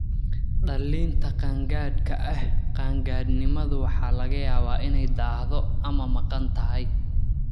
Dhallinta qaangaadhka ah, qaan-gaadhnimada waxa laga yaabaa inay daahdo ama maqan tahay.